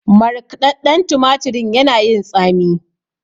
Markɗaɗɗan tumatirin yana yin tsami.